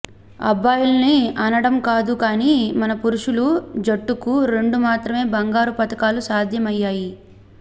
అబ్బాయిల్ని అనడం కాదు కానీ మన పురుషుల జట్టుకు రెండు మాత్రమే బంగారు పతకాలు సాధ్యం అయ్యాయి